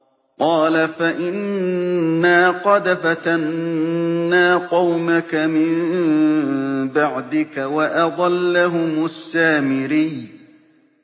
قَالَ فَإِنَّا قَدْ فَتَنَّا قَوْمَكَ مِن بَعْدِكَ وَأَضَلَّهُمُ السَّامِرِيُّ